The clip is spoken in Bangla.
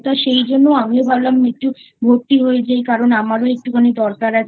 তাই সেইজন্য আমিও ভাবলাম একটু ভর্তি হয়ে যাই কারণ আমারও একটু খানি দরকার আছে